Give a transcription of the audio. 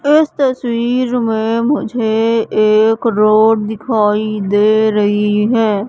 उस तस्वीर में मुझे एक रोड दिखाई दे रही है।